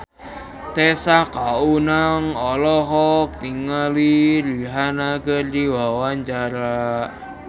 Tessa Kaunang olohok ningali Rihanna keur diwawancara